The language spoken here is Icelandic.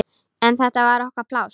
En þetta var okkar pláss.